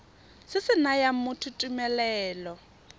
se se nayang motho tumelelo